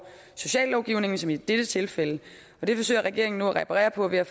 sociallovgivningen som i det tilfælde det forsøger regeringen nu at reparere på ved at